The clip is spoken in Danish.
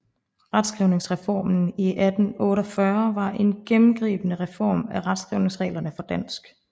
Retskrivningsreformen i 1948 var en gennemgribende reform af retskrivningsreglerne for dansk